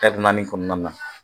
naani kɔnɔna na